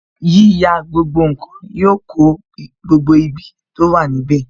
Yíyà gbogbo nkan yọ kó gbogbo ibi tó wà níbè